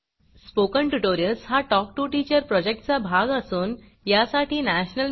spoken tutorials हा talk to teacher प्रॉजेक्टचा भाग असून यासाठी national mission on education through I